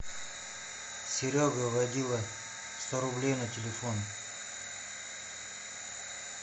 серега водила сто рублей на телефон